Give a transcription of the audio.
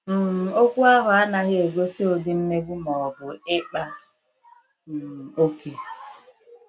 um Okwu ahụ anaghị egosi ụdị mmegbu ma ọ bụ ịkpa um oke.